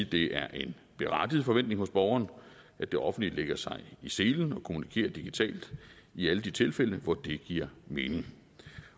det er en berettiget forventning hos borgeren at det offentlige lægger sig i selen og kommunikerer digitalt i alle de tilfælde hvor det giver mening